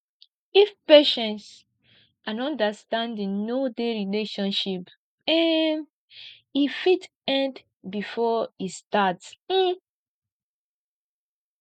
if patience and understanding no dey relationship um e fit end before e start um